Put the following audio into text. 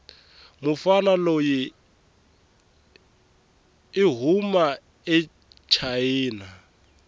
mufana loyi ihhuma achina